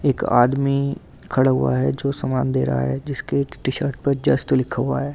एक आदमी खड़ा हुआ है जो सामान दे रहा है जिसके टी शर्ट पर जस्ट लिखा हुआ है ।